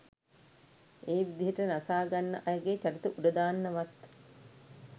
ඒ විදියට නසාගන්න අයගේ චරිත උඩදාන්න වත්